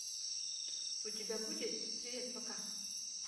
у тебя будет привет пока